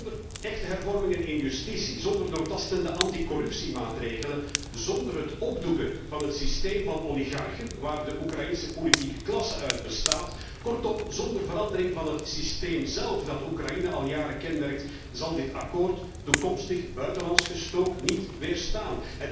Zonder echte hervormingen in justitie, zonder doortastende anticorruptiemaatregelen, zonder het opdoeken van het systeem van oligarchen, waar de Oekraïense politieke klasse uit bestaat, kortom, zonder verandering van het systeem zélf dat Oekraïne al jaren kenmerkt, zal deze overeenkomst toekomstig buitenlands gestook niet weerstaan.